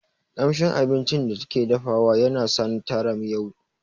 Ƙamshin abincin da take dafa wa yana sani tara miyau